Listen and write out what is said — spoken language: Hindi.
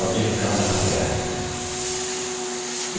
जाँचिये कि copied किया हुआ object कहाँ रखा गया है